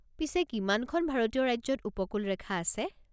পিছে কিমানখন ভাৰতীয় ৰাজ্যত উপকূলৰেখা আছে?